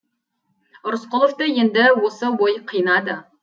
рысқұловты енді осы ой қинады